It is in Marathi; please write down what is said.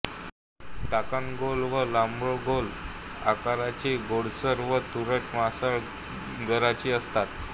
फळं टणकगोल वा लंबगोल आकाराचीगोडसर व तुरट मांसल गराची असतात